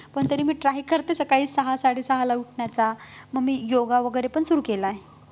पण तरी मी try करते सकाळी सहा-साडेसहाला उठण्याचा मग मी योगा वैगेरे पण सुरु केलाय